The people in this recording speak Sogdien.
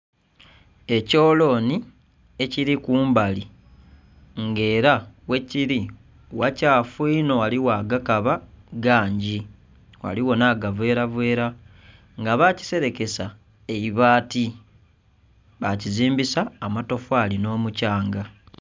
Ekyolonhi ekili kumbali nga era ghekili ghalyato onho ghaligho agakaba gangi ghaligho nha gavera vera nga bakiserekesa eibati bakazimbisa amatofali nhi mukyanga.